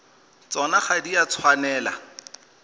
tsona ga di a tshwanela